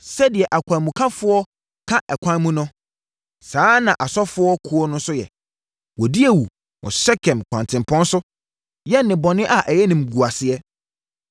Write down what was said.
Sɛdeɛ akwanmukafoɔ ka ɛkwan mu no saa ara na asɔfo kuo no nso yɛ; wɔdi awu wɔ Sekem kwantempɔn so yɛ nnebɔne a ɛyɛ animguaseɛ.